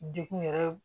Degun yɛrɛ